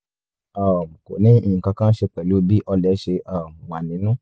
um kò ní nǹkan kan ṣe pẹ̀lú bí ọlẹ̀ ṣe um wà nínú